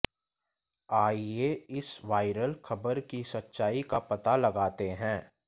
आइए इस वायरल खबर की सच्चाई का पता लगाते हैं